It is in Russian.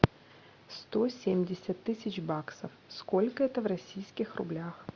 сто семьдесят тысяч баксов сколько это в российских рублях